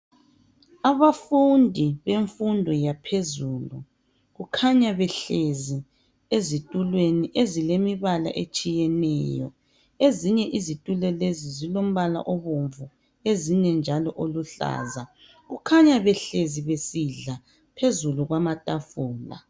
Abafundi bemfundo yaphezulu kukhanya behlezi ezitulweni ezilemibala etshiyeneyo ezinye izitulo lezi zilombala obomvu ezinye oluhlaza. Bakhanya behlezi besidla phezu kwamatafula.